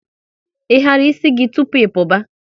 Ị hara ịsị gị tụpụ ị puba?